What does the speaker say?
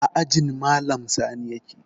A ajin malam sani yake